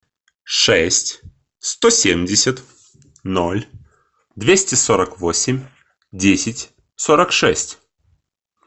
шесть сто семьдесят ноль двести сорок восемь десять сорок шесть